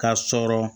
Ka sɔrɔ